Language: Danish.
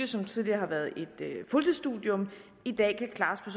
som tidligere har været et fuldtidsstudium i dag kan klares